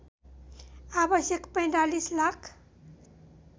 आवश्यक ४५ लाख